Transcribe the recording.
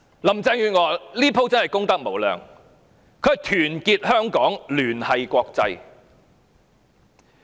林鄭月娥這次真是功德無量，她說要團結香港，聯繫國際。